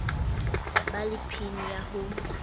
ba le pin ya ho